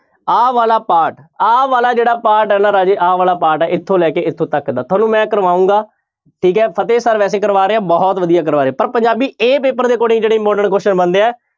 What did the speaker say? ਆਹ ਵਾਲਾ part ਆਹ ਵਾਲਾ ਜਿਹੜਾ part ਹੈ ਨਾ ਰਾਜਾ ਆਹ ਵਾਲਾ part ਹੈ ਇੱਥੋਂ ਲੈ ਕੇ ਇੱਥੇ ਤੱਕ ਦਾ ਤੁਹਾਨੂੰ ਮੈਂ ਕਰਵਾਊਂਗਾ, ਠੀਕ ਹੈ ਫਤਿਹ sir ਵੈਸੇ ਕਰਵਾ ਰਹੇ ਆ ਬਹੁਤ ਵਧੀਆ ਕਰਵਾ ਰਹੇ ਪਰ ਪੰਜਾਬੀ a ਪੇਪਰ ਦੇ according ਜਿਹੜੇ important ਬਣਦੇ ਆ